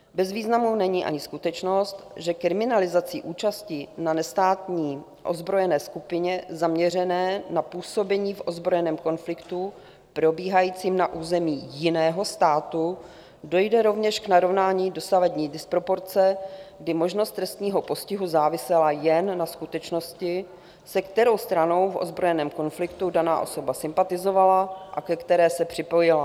Bez významu není ani skutečnost, že kriminalizací účasti na nestátní ozbrojené skupině zaměřené na působení v ozbrojeném konfliktu probíhajícím na území jiného státu dojde rovněž k narovnání dosavadní disproporce, kdy možnost trestního postihu závisela jen na skutečnosti, se kterou stranou v ozbrojeném konfliktu daná osoba sympatizovala a ke které se připojila.